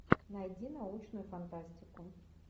найди научную фантастику